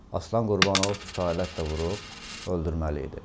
Aslan Qurbanov küçü alətlə vurub öldürməli idi.